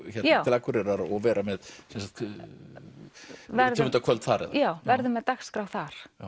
Akureyrar og vera með rithöfundakvöld þar já verðum með dagskrá þar